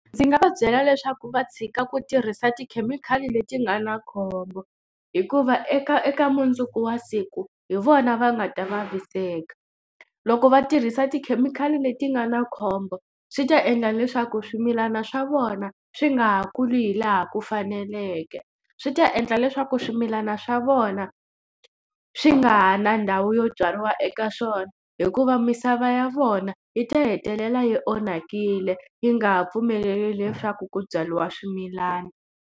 Ndzi nga va byela leswaku va tshika ku tirhisa tikhemikhali leti nga na khombo hikuva eka eka mundzuku wa siku hi vona va nga ta vaviseka. Loko va tirhisa tikhemikhali leti nga na khombo swi ta endla leswaku swimilana swa vona swi nga ha kuli hi laha ku faneleke. Swi ta endla leswaku swimilana swa vona swi nga ha na ndhawu yo byariwa eka swona hikuva misava ya vona yi ta hetelela yi onhakile yi nga ha pfumeleli leswaku ku byariwa swimilana.